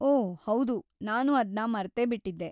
ಓ ಹೌದು, ನಾನು ಅದ್ನ ಮರ್ತೇ ಬಿಟ್ಟಿದ್ದೆ.